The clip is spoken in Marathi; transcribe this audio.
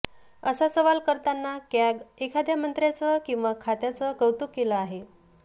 असा सवाल करतानाच कॅग एखाद्या मंत्र्यांचं किंवा खात्याचं कौतुक केले आहे